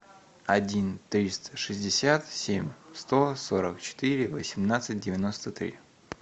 один триста шестьдесят семь сто сорок четыре восемнадцать девяносто три